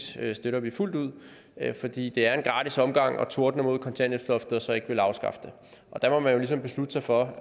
støtter vi fuldt ud fordi det er en gratis omgang at tordne imod kontanthjælpsloftet og så ikke ville afskaffe det der må man jo ligesom beslutte sig for